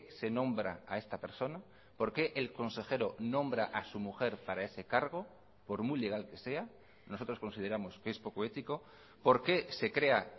se nombra a esta persona por qué el consejero nombra a su mujer para ese cargo por muy legal que sea nosotros consideramos que es poco ético por qué se crea